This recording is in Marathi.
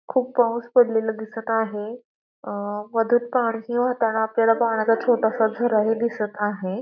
खूप पाऊस पडलेला दिसत आहे अ मधून पाणीही वाहताना आपल्याला पाण्याचा छोटासा झराही दिसत आहे.